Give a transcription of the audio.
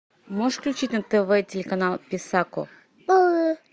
можешь включить на тв телеканал писако